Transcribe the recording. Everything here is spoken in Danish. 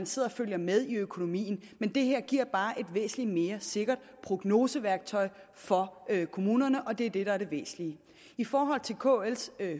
sidder og følger med i økonomien men det her giver bare et væsentlig mere sikkert prognoseværktøj for kommunerne og det er det der er det væsentlige i forhold til kls